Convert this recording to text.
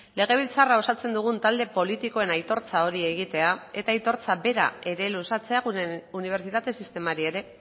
legebiltzarra osatzen dugun talde politikoen aitortza hori egitea eta aitortza bera ere luzatzea gure unibertsitate sistemari ere